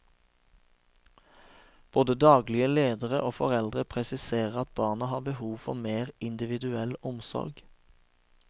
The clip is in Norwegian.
Både daglige ledere og foreldre presiserer at barna har behov for mer individuell omsorg.